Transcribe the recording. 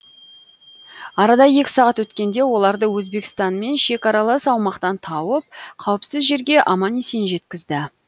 арада екі сағат өткенде оларды өзбекстанмен шекаралас аумақтан тауып қауіпсіз жерге аман есен жеткізді